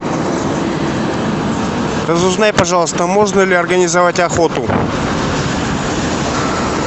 разузнай пожалуйста можно ли организовать охоту